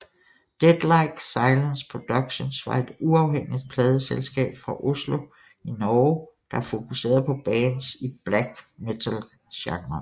Deathlike Silence Productions var et uafhængig pladeselskab fra Oslo i Norge der fokuserede på bands i black metalgenren